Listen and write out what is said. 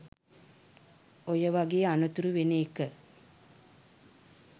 ඔය වගේ අනතුරු වෙන එක